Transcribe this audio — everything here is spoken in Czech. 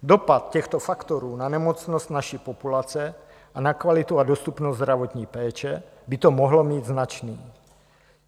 Dopad těchto faktorů na nemocnost naší populace a na kvalitu a dostupnost zdravotní péče by to mohlo mít značný.